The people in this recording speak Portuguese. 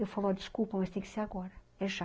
Eu falo, desculpa, mas tem que ser agora, é já.